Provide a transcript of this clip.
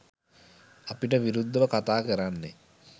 අපිට විරුද්ධව කතාකරන්නේ